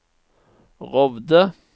Rovde